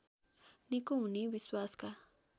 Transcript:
निको हुने विश्वासका